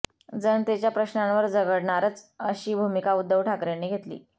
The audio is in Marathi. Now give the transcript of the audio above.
जनतेच्या प्रश्नांवर झगडणारच अशी भूमिका उद्धव ठाकरेंनी घेतली